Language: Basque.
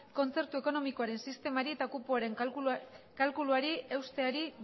kontzertu ekonomikoaren sistemari eta kupoaren kalkuluari eusteari